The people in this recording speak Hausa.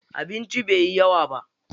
Abincin bai yi yawa ba.